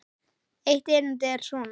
Eitt erindið er svona